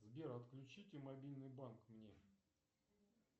сбер отключите мобильный банк мне